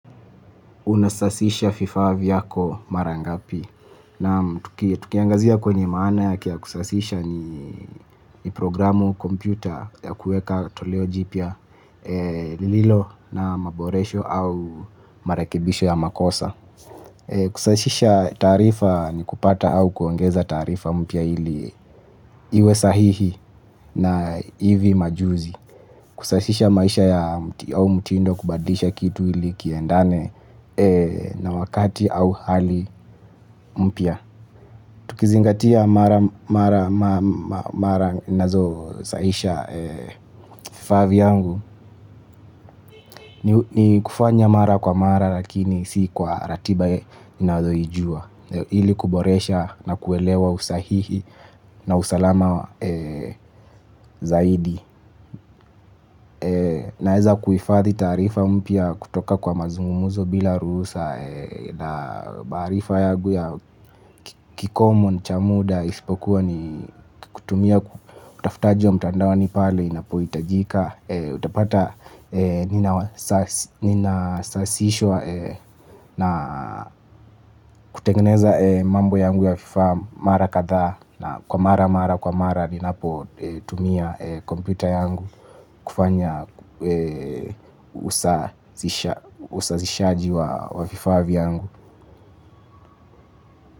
Unasasisha vifaa vyako mara ngapi naam tukiangazia kwenye maana yake ya kusasisha ni ni programu kompyuta ya kuweka toleo jipya lililo na maboresho au marekebisho ya makosa. Kusasisha taarifa ni kupata au kuongeza taarifa mpya ili iwe sahihi na hivi majuzi. Kusashisha maisha ya mti au mtindo kubadilisha kitu ili kiendane na wakati au hali mpya. Tukizingatia mara ninazosasisha vifaa vyangu. Ni kufanya mara kwa mara lakini si kwa ratiba ninayoijua ili kuboresha na kuelewa usahihi na usalama zaidi. Naweza kuhifadhi taarifa mpya kutoka kwa mazungumzo bila ruhusa. Na maarifa yangu ya kikomo ni cha muda isipokuwa ni kutumia utafutaji wa mtandaoni pale inapohitajika utapata ninasasishwa na kutengeneza mambo yangu ya vifaa mara kadhaa na kwa mara mara kwa mara ninapotumia kompyuta yangu kufanya usasishaji wa vifaa vyangu.